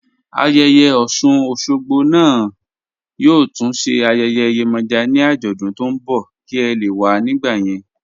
Ayéyè Osun-Osogbo naá yóò tún sé ayéyè Yemoja ni ajódún tó n bọ̀ kí è lè wà nígbà yẹn